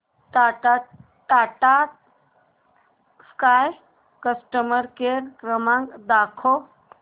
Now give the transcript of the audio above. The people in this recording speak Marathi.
टाटा स्काय कस्टमर केअर क्रमांक दाखवा